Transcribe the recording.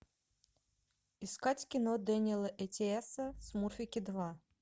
искать кино дэниэла эттиэса смурфики два